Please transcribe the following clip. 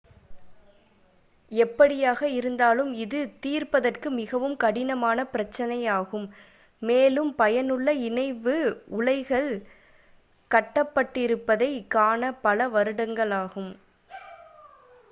எப்படியாக இருந்தாலும் இது தீர்ப்பதற்கு மிகவும் கடினமான பிரச்சினையாகும் மேலும் பயனுள்ள இணைவு உலைகள் கட்டப்பட்டிருப்பதைக் காண பல வருடங்களாகும்